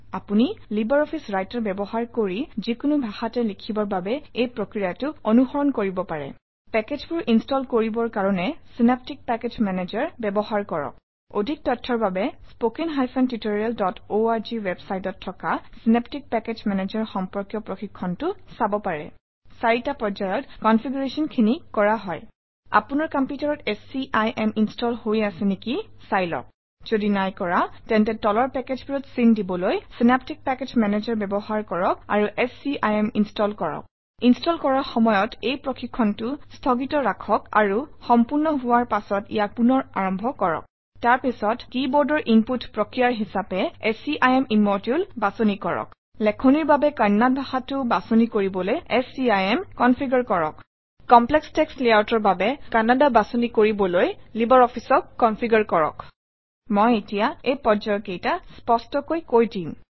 আপুনি libre office writer ব্যৱহাৰ কৰি যিকোনো ভাষাতে লিখিবৰ বাবে এই প্ৰক্ৰিয়াটো অনুসৰণ কৰিব পাৰে পেকেজবোৰ ইনষ্টল কৰিবৰ কাৰণে চিনেপ্টিক পেকেজ মেনেজাৰ ব্যৱহাৰ কৰক অধিক তথ্যৰ বাবে spoken tutorialঅৰ্গ ৱেবচাইটত থকা চিনেপ্টিক পেকেজ মেনেজাৰ সম্পৰ্কীয় প্ৰশিক্ষণটো চাব পাৰে চাৰিটা পৰ্যায়ত Configuration খিনি কৰা হয় আপোনাৰ কম্পিউটাৰত স্কিম ইনষ্টল হৈ আছে নেকি চাই লওক যদি নাই কৰা তেন্তে তলৰ পেকেজবোৰত চিন দিবলৈ চিনেপ্টিক পেকেজ মেনেজাৰ ব্যৱহাৰ কৰক আৰু স্কিম ইনষ্টল কৰক ইনষ্টল কৰাৰ সময়ত এই প্ৰশিক্ষণটো স্থগিত ৰাখক আৰু সম্পূৰ্ণ হোৱাৰ পাছত ইয়াক পুনৰ আৰম্ভ কৰক তাৰ পিছত কিবৰ্ডৰ ইনপুট প্ৰক্ৰিয়া হিচাপে scim ইম্মদুলে বাছনি কৰক লেখনিৰ বাবে কন্নড় ভাষাটো বাছনি কৰিবলৈ স্কিম কনফিগাৰ কৰক LibreOfficeঅক কমপ্লেক্স টেক্সট layoutঅৰ কৰিব্ৰ বাবে কান্নাডা বাচক মই এতিয়া এই পৰ্যায়কেইটা স্পষ্টকৈ দেখুৱাই কৈ দিম